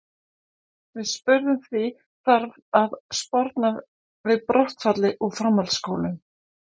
Við spurðum því, þarf að sporna við brottfalli úr framhaldsskólum?